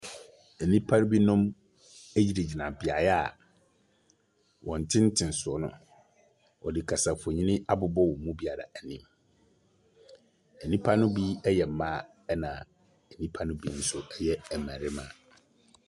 Nnipa binom gyinagyina beaeɛ a wɔn ntentensoɔ no, wɔde kasamfonin abobɔ wɔn mu biara anim. Nnipa no bi yɛ mmaa, ɛnna nnipa no bi nso yɛ mmarima.